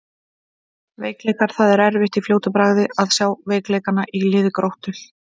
Veikleikar: Það er erfitt í fljótu bragði að sjá veikleikana í liði Gróttu.